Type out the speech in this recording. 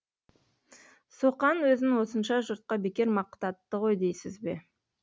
соқан өзін осынша жұртқа бекер мақтатты ғой дейсіз бе